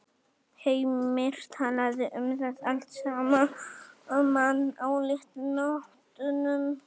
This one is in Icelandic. Heimir talaði um það allt saman á léttu nótunum.